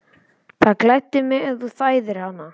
Það gleddi mig, ef þú þæðir hana